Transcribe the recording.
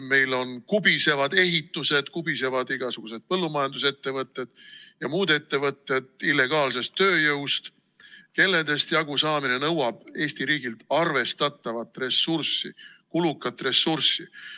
Meil kubisevad ehitused, igasugused põllumajandusettevõtted ja muud ettevõtted illegaalsest tööjõust, kellest jagusaamine nõuab Eesti riigilt arvestatavat ressurssi, kulukat ressurssi.